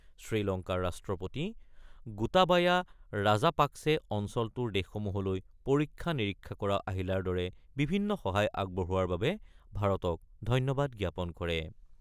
শ্ৰীলংকাৰ ৰাষ্ট্ৰপতি গোটাবায়া ৰাজাপাক্ছে অঞ্চলটোৰ দেশসমূহলৈ পৰীক্ষা-নিৰীক্ষা কৰা আহিলাৰ দৰে বিভিন্ন সহায় আগবঢ়োৱাৰ বাবে ভাৰতক ধন্যবাদ জ্ঞাপন কৰে।